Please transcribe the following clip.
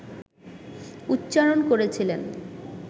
উচ্চারণ করেছিলেন